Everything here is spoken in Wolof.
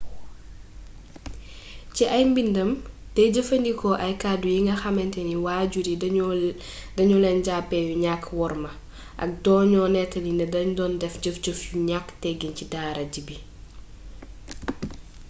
ci ay mbindam day jëfandikoo ay kàddu yinga xamantani waajur yi da ñu leen jàppe yu ñàkkk worma ak doño nettali ni da doon jëf jëf yu ñaak teggin ci dara ji bi